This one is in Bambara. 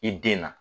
I den na